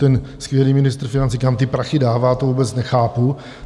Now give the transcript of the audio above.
Ten skvělý ministr financí, kam ty prachy dává, to vůbec nechápu!